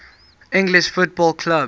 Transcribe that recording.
english football clubs